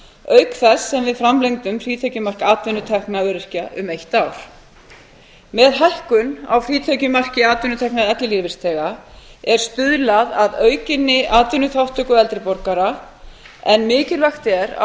auk þess sem við framlengdum frítekjumark atvinnutekna öryrkja um eitt ár með hækkun á frítekjumarki atvinnutekna ellilífeyrisþega er stuðlað að aukinni atvinnuþátttöku eldri borgara en mikilvægt er að